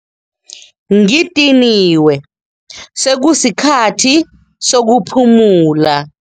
Ngidiniwe sekusikhathi sokuphumula.